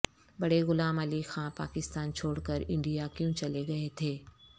بڑے غلام علی خان پاکستان چھوڑ کر انڈیا کیوں چلے گئے تھے